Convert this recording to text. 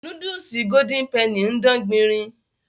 Núdúùsù golden penny ń dán gbinrin